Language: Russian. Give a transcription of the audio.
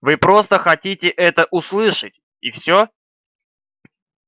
вы просто хотите это услышать и всё